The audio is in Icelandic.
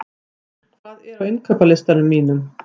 Mímir, hvað er á innkaupalistanum mínum?